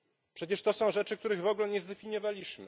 Przecież to są rzeczy, których w ogóle nie zdefiniowaliśmy.